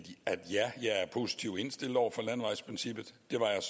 at ja jeg er positivt indstillet over for landevejsprincippet det var jeg